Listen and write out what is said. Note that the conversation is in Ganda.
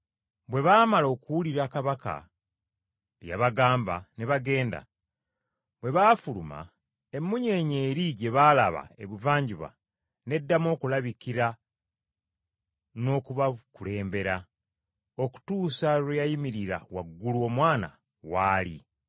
Bwe baamala okuwulira Kabaka bye yabagamba ne bagenda. Bwe baafuluma, emmunyeenye eri gye baalaba ebuvanjuba n’eddamu okubalabikira n’okubakulembera, okutuusa lwe yayimirira waggulu Omwana w’ali.